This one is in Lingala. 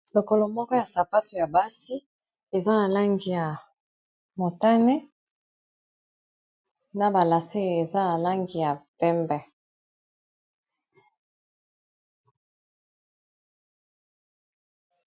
Lokolo moko ya sapato ya basi eza na langi ya motane, na balase eza na langi ya pembe